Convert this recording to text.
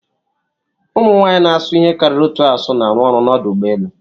Ụmụ nwanyị na-asụ ihe karịrị otu asụsụ na-arụ ọrụ n'ọdụ ụgbọ elu.